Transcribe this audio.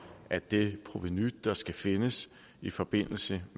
at det provenu der skal findes i forbindelse